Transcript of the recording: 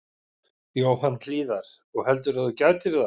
Jóhann Hlíðar: Og heldurðu að þú gætir það?